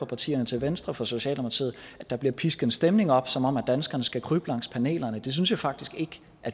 partierne til venstre for socialdemokratiet at der bliver pisket en stemning op som om danskerne skal krybe langs panelerne det synes jeg faktisk ikke